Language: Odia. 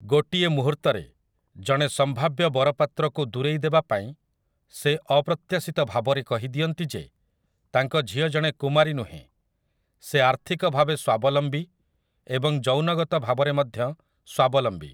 ଗୋଟିଏ ମୁହୁର୍ତ୍ତରେ, ଜଣେ ସମ୍ଭାବ୍ୟ ବରପାତ୍ରକୁ ଦୂରେଇ ଦେବା ପାଇଁ, ସେ ଅପ୍ରତ୍ୟାଶିତ ଭାବରେ କହିଦିଅନ୍ତି ଯେ ତାଙ୍କ ଝିଅ ଜଣେ କୁମାରୀ ନୁହେଁ, ସେ ଆର୍ଥିକ ଭାବେ ସ୍ୱାବଲମ୍ବୀ ଏବଂ ଯୌନଗତ ଭାବରେ ମଧ୍ୟ ସ୍ୱାବଲମ୍ବୀ ।